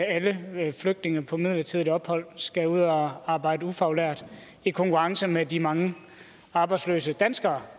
alle flygtninge på midlertidigt ophold skal ud og arbejde ufaglært i konkurrence med de mange arbejdsløse danskere